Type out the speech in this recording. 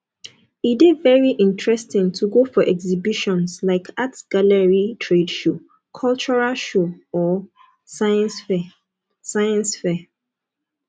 e de very interesting to go for exhibitions like art gallery trade show cultural show or science fair science fair